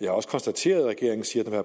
jeg har også konstateret at regeringen siger at